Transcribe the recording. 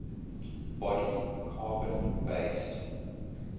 body carbon based